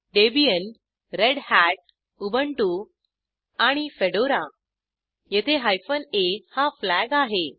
Debian Red Hat Ubuntu आणि Fedora येथे hyphen a हा फ्लॅग आहे